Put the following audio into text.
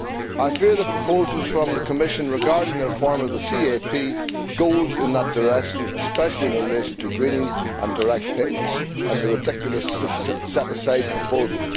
I fear the proposals from the Commission regarding the reform of the CAP go in that direction, especially in relation to greening and direct payments and the ridiculous set aside proposal.